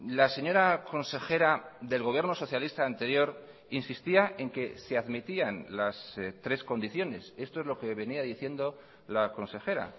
la señora consejera del gobierno socialista anterior insistía en que se admitían las tres condiciones esto es lo que venía diciendo la consejera